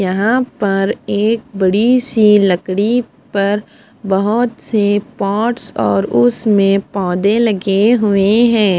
यहां पर एक बड़ी सी लकड़ी पर बहोत से पॉट्स और उसमें पौधे लगे हुए है।